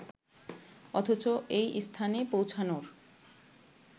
অথচ এই স্থানে পৌঁছানোর